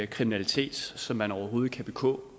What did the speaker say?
kriminalitet som man overhovedet kan begå